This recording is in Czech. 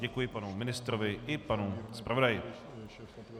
Děkuji panu ministrovi i panu zpravodaji.